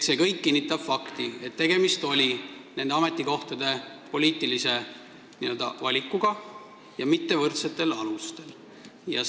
See kõik kinnitab fakti, et tegemist oli poliitilise valikuga nende ametikohtade puhul, mitte võrdsetel alustel kandideerimisega.